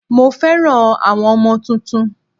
Mo fẹ́ràn àwọn ọmọ tuntun